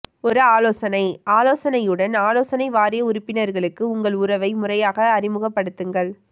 ஒரு ஆலோசனை ஆலோசனையுடன் ஆலோசனை வாரிய உறுப்பினர்களுக்கு உங்கள் உறவை முறையாக அறிமுகப்படுத்துங்கள்